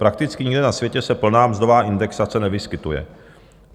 Prakticky nikde na světě se plná mzdová indexace nevyskytuje.